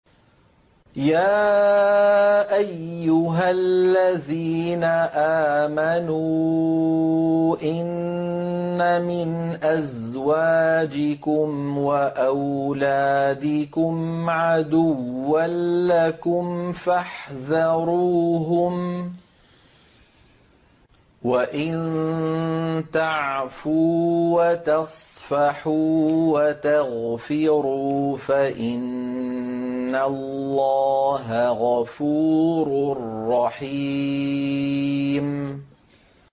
يَا أَيُّهَا الَّذِينَ آمَنُوا إِنَّ مِنْ أَزْوَاجِكُمْ وَأَوْلَادِكُمْ عَدُوًّا لَّكُمْ فَاحْذَرُوهُمْ ۚ وَإِن تَعْفُوا وَتَصْفَحُوا وَتَغْفِرُوا فَإِنَّ اللَّهَ غَفُورٌ رَّحِيمٌ